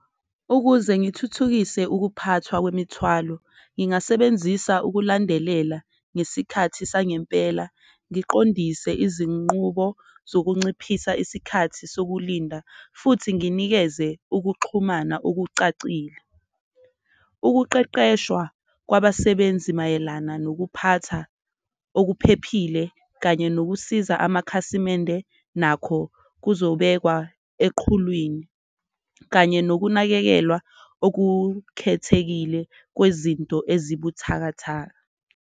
Ukuze ngithuthukise ukuphathwa kwemithwalo ngingasebenzisa ukulandelelwa ngesikhathi sangempela. ngiqondise izinqubo zokunciphisa isikhathi sokulinda futhi nginikeze ukuxhumana okucacile. Ukuqeqeshwa kwabasebenzi mayelana nokuphatha okuphephile kanye nokusiza amakhasimende nakho kuzobekwa eqhulwini, kanye nokunakekelwa okukhethekile kwezinto ezibuthakatha.